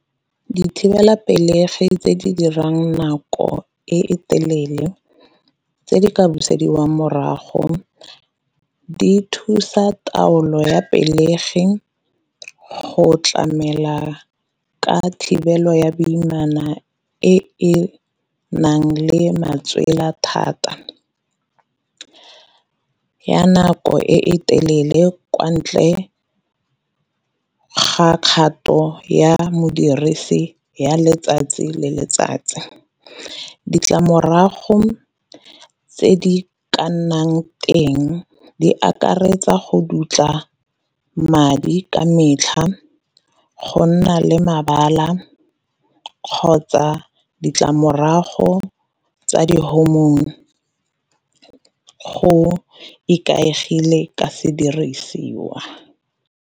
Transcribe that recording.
Dithibelapelegi tse di dirang nako e telele tse di ka busediwang morago, di thusa taolo ya pelegi go tlamela ka thibelo ya boimana e nang le matswela thata. Ya nako e e telele kwa ntle ga kgato ya modirisi ya letsatsi le letsatsi, ditlamorago tse di ka nnang teng di akaretsa go dutla madi ka metlha, go nna le mebala, kgotsa ditlamorago tsa di hormone go ikaegile ka sedirisiwa.